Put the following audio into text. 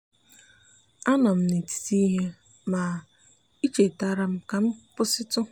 anọ m m n’etiti ihe ma i chetara m ka m kwụsịtu.